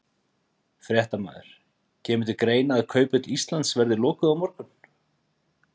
Fréttamaður: Kemur til greina að Kauphöll Íslands verði lokuð á morgun?